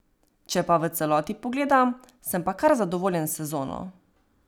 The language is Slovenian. Če pa v celoti pogledam, sem pa kar zadovoljen s sezono.